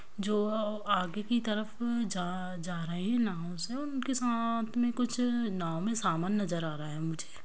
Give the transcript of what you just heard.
जो अ आगे की तरफ जा जा रहे है नाव से और उनके साथ में कुछ नाव में समान नजर आ रहा है मुझे।